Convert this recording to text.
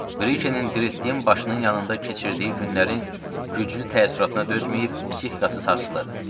Brikenin dindirtdiyi başının yanında keçirdiyi günlərin güclü təəssüratına dözməyib psixikası sarsılıb.